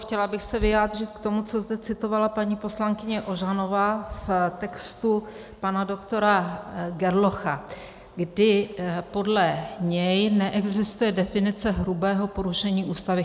Chtěla bych se vyjádřit k tomu, co zde citovala paní poslankyně Ožanová z textu pana doktora Gerlocha, kdy podle něj neexistuje definice hrubého porušení Ústavy.